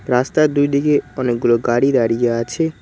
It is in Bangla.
রাস্তার দুইদিকে অনেকগুলো গাড়ি দাঁড়িয়ে আছে।